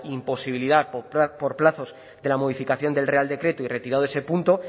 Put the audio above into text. imposibilidad por plazos de la modificación del real decreto y retirado ese punto